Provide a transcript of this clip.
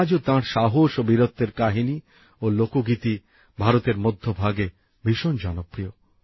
আজও তাঁর সাহস ও বীরত্বের কাহিনী ও লোকগীতি ভারতের মধ্যভাগে ভীষণ জনপ্রিয়